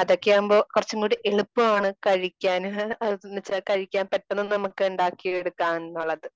അതൊക്കെയാകുമ്പോ കുറച്ചുംകൂടി എളുപ്പമാണ്. കഴിക്കാനും കഴിക്കാൻ പെട്ടെന്ന് നമുക്ക് ഉണ്ടാക്കി എടുക്കാം എന്നുള്ളത്.